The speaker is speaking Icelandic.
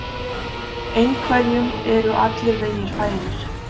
Einhverjum eru allir vegir færir